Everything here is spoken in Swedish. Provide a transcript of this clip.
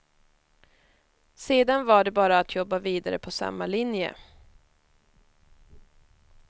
Sedan var det bara att jobba vidare på samma linje.